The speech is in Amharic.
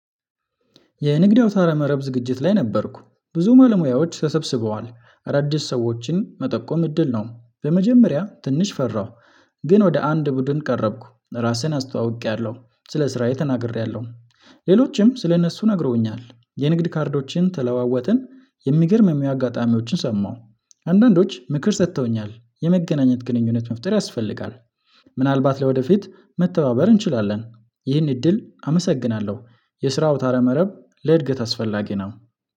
የንግድ አውታረ መረብ ዝግጅት ላይ ነበርኩ። ብዙ ባለሙያዎች ተሰብስበዋል። አዳዲስ ሰዎችን መጠቆም እድል ነው። በመጀመሪያ ትንሽ ፈራሁ። ግን ወደ አንድ ቡድን ቀረብኩ። ራስህን አስተዋውቄያለሁ። ስለ ስራዬ ተናግሬያለሁ። ሌሎችም ስለ እነሱ ነግረውኛል። የንግድ ካርዶችን ተለዋወጥን። የሚገርሙም አጋጣሚዎችን ሰማሁ። አንዳንዶች ምክር ሰጥተውኛል። የመገናኘት ግንኙነት መፍጠር ያስፈልጋል። ምናልባት ለወደፊት መተባበር እንችላለን። ይህን እድል አመሰግናለሁ። የስራ አውታረ መረብ ለእድገት አስፈላጊ ነው።